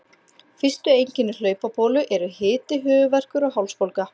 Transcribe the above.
Fyrstu einkenni hlaupabólu eru hiti, höfuðverkur og hálsbólga.